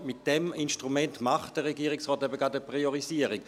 Mit diesem Instrument macht der Regierungsrat eben gerade eine Priorisierung.